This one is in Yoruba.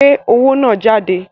Gbé owó náà jáde!